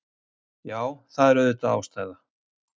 Já, það er auðvitað ástæða.